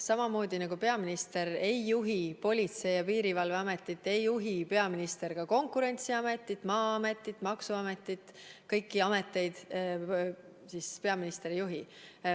Samamoodi nagu peaminister ei juhi Politsei- ja Piirivalveametit, ei juhi peaminister ka Konkurentsiametit, Maa-ametit, maksuametit ega kõiki muid ameteid.